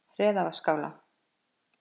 Hreðavatnsskála